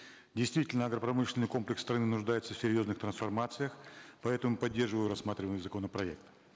действительно агропромышленный комплекс страны нуждается в серьезных трансформациях поэтому поддерживаю рассматриваемый законопроект